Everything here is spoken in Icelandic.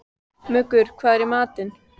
Muggur, hvað er í matinn?